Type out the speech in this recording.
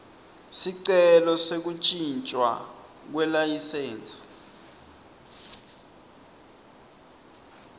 sicelo sekuntjintjwa kwelayisensi